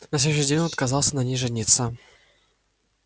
на следующий день он отказался на ней жениться